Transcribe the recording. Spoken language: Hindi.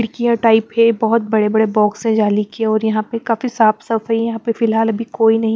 खिड़कियां टाइप हैं। बहोत बड़े बड़े बॉक्स है जाली के और यहां पे काफी साफ साफ है। यहां पे फिलहाल अभी कोई नहीं--